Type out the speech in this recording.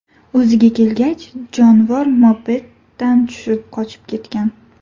O‘ziga kelgach, jonivor mopeddan tushib, qochib ketgan.